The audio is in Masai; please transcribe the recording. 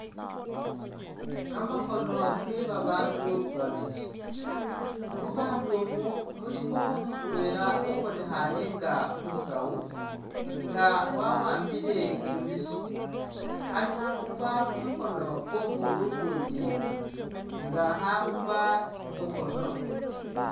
Kamakhono ke babaandu babili, mu baandu umu mulimu mutwela ubonekhaane nga umusawu nga wa'ambile imbisyo ali khakhupa khu mukhono kwo'omuundu ukuundi nga khakhupa khu mukhono.